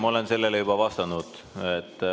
Ma olen sellele juba vastanud.